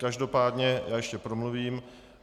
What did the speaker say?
Každopádně já ještě promluvím.